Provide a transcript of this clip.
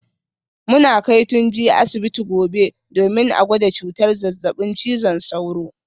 Muna kai Tunji asibiti gobe domin a gwada cutar zazzabin cizon sauro